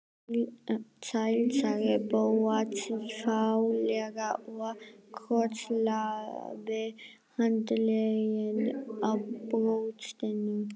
Sæll sagði Bóas fálega og krosslagði handleggina á brjóstinu.